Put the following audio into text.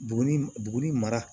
Buguni buguni mara